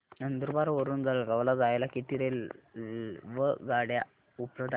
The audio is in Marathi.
नंदुरबार वरून जळगाव ला जायला किती रेलेवगाडया उपलब्ध आहेत